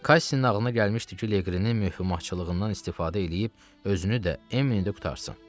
Kassin ağlına gəlmişdi ki, Leqrinin möhkumacılığından istifadə eləyib özünü də, Emmini də qurtarsın.